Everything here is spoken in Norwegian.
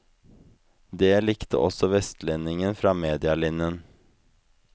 Det likte også vestlendingen fra medialinjen.